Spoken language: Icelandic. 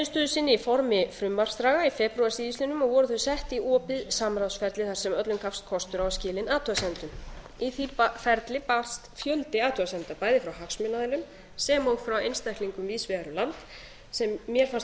niðurstöðu sinni í formi frumvarpsdraga í febrúar síðastliðnum og voru þau sett í opið samráðsferli þar sem öllum gafst kostur á að skila inna athugasemdum í því ferli barst fjöldi athugasemda bæði frá hagsmunaaðilum sem og frá einstaklingum víðsvegar um land sem mér fannst